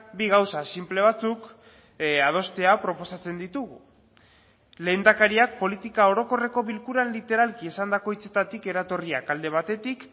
bi gauza sinple batzuk adostea proposatzen ditugu lehendakariak politika orokorreko bilkuran literalki esandako hitzetatik eratorriak alde batetik